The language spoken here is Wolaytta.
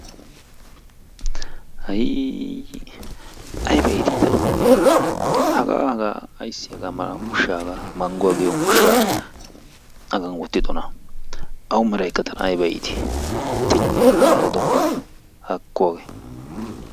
Hayii, ayibba iiti tanna hagga haaga ayssi hagaa malla ushshaa mangguwa giyoo ushsha aybbawu haggan wottidonna? ayo tanna meraykka ayibba iitti? Hagga odoppanne haakko hage.